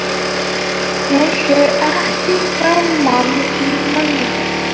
Hún sér ekki framan í manninn.